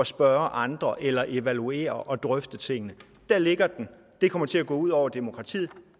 spørge andre eller evaluere og drøfte tingene der ligger den og det kommer til at gå ud over demokratiet